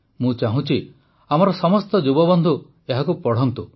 ମୁଁ ଚାହୁଁଛି ଆମର ସମସ୍ତ ଯୁବବନ୍ଧୁ ଏହାକୁ ପଢ଼ନ୍ତୁ